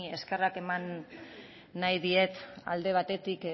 eskerrak eman nahi diet alde batetik